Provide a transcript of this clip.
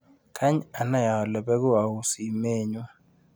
Kany anai ale beku auu simenyu.